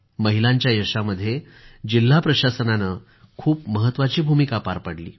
महिलांच्या यशामध्ये जिल्हा प्रशासनानं खपू महत्वाची भूमिका पार पाडली